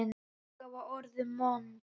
Magga var orðin vond.